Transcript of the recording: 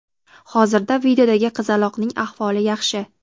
hozirda videodagi qizaloqning ahvoli yaxshi.